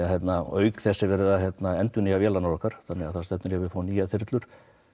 auk þess er verið að endurnýja vélarnar okkar þannig það stefnir í að við fáum nýjar þyrlur